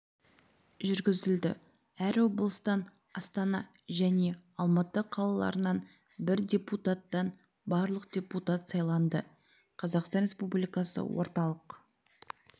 жүргізілді әр облыстан астана және алматы қалаларынан бір депутаттан барлығы депутат сайланды қазақстан республикасы орталық